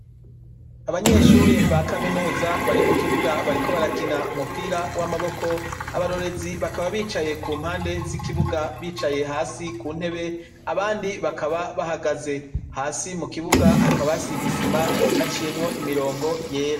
Abanyeshure ba Kaminuza bari mukibuga bariko barakina umupira wamaboko abarorerezi bakaba bicaye kumpande zikibuga, bicaye hasi kuntebe abandi bakaba bahagaze hasi, mukibuga hakaba hasize isima haciyemwo imirongo yera.